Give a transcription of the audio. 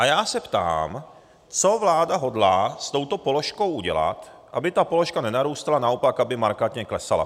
A já se ptám, co vláda hodlá s touto položkou udělat, aby ta položka nenarůstala, naopak, aby markantně klesala.